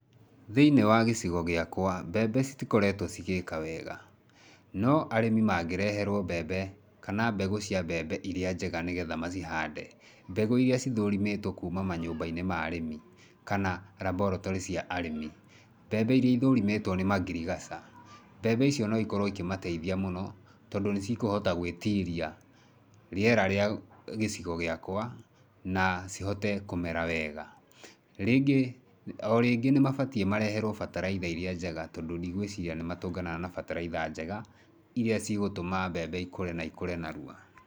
Thĩiniĩ wa gĩcigo gĩakwa mbembe citikoretwo igĩka wega. No arĩmi magĩreherwo mbembe kana mbegũ cia mbembe irĩa njega nĩgetha macihande, mbegũ irĩa cithũrimĩtwo kuma manyũmba-inĩ ma arĩmi kana laboratory cia arĩmi, mbembe iria ithũrimĩtwo nĩ mangirigaca, mbembe icio no ikorwo ikĩmateithia mũno, tondũ nĩcikohota gwĩtiria rĩera rĩa gĩcigo gĩakwa, na cihote kũmera wega. Rĩngĩ, o rĩngĩ nĩ mabatiĩ mareherwo bataraitha irĩa njega tondũ ndigũĩciria nĩ matũnganaga na bataraitha njega irĩa cigũtũma mbembe ikũre na ikũre narua.